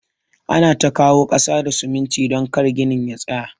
Ana ta kawo kasa da siminti don kar ginin ya tsaya.